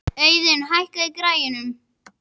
Auðun, hækkaðu í græjunum.